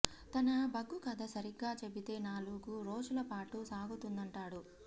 తన ఒగ్గు కథ సరిగ్గా చెబితే నాలు గు రోజుల పాటు సాగుతుందంటాడు